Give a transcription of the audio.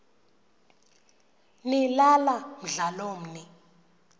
nilala mdlalomn l